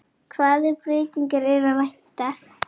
Hvaða breytinga er að vænta?